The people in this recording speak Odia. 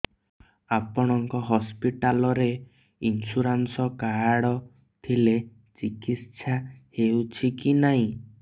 ଆପଣଙ୍କ ହସ୍ପିଟାଲ ରେ ଇନ୍ସୁରାନ୍ସ କାର୍ଡ ଥିଲେ ଚିକିତ୍ସା ହେଉଛି କି ନାଇଁ